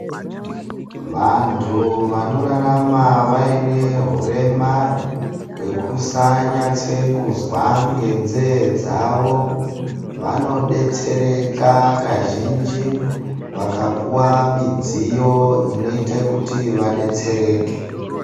Vantu vanorarama vaine hurema hwekusanatse kunzwa ngenzee dzavo, vanodetsera kazhinji vakapuwa midziyo inoita kuti vadetsereke.